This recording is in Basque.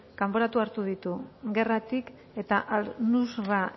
kanporatu hartu ditu gerratik eta al nusra